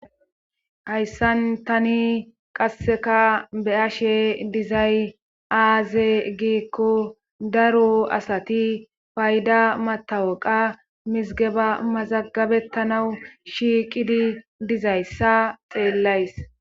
Hayssan tani qasseka be ashe dizay aaze giikko daro asati payda matawaqa mizigeba mazagabettanawu shiiqidi dizayssa xeellays